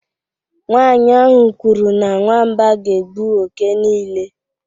Nwanyị ahụ kwuru na nwamba ga-egbu oke niile